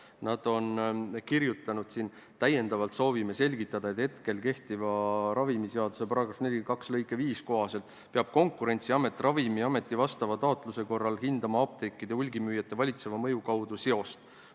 Aga nad on oma kirjas öelnud: "Täiendavalt soovime selgitada, et hetkel kehtiva ravimiseaduse § 42 lõike 5 kohaselt peab Konkurentsiamet Ravimiameti vastava taotluse korral hindama apteekide hulgimüüjate valitseva mõju kaudu seost.